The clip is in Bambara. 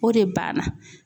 O de banna.